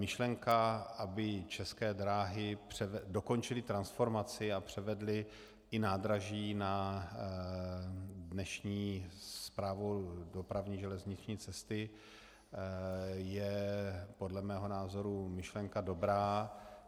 Myšlenka, aby České dráhy dokončily transformaci a převedly i nádraží na dnešní Správu dopravní železniční cesty, je podle mého názoru myšlenka dobrá.